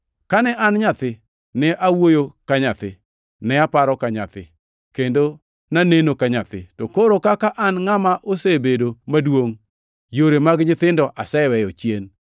Kane an nyathi, ne awuoyo ka nyathi, ne aparo ka nyathi, kendo naneno ka nyathi, to koro kaka an ngʼama osebedo maduongʼ, yore mag nyithindo aseweyo chien.